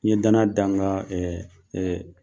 Ni ye danaya dan n kan ɛɛ ɛɛ